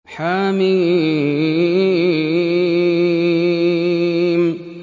حم